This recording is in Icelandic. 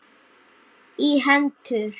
í hendur.